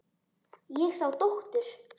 Ég sá dóttur.